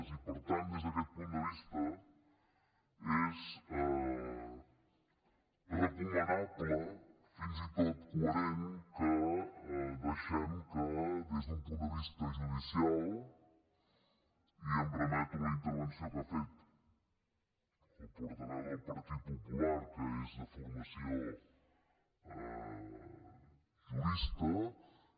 i per tant des d’aquest punt de vista és recomanable fins i tot coherent que deixem que des d’un punt de vista judicial i em remeto a la intervenció que ha fet el portaveu del partit popular que és de formació jurista